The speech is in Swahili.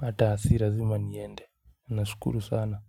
hata si lazima niende, unashukuru sana.